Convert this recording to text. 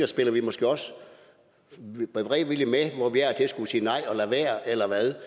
spiller vi måske også beredvilligt med hvor vi af og skulle sige nej og lade være eller hvad